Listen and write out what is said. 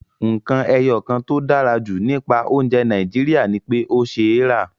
Nǹkan ẹyọ kan tó dára jù nípa oúnjẹ Nàìjíríà ni pé ó ṣeé rà